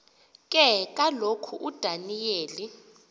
ke kaloku udaniyeli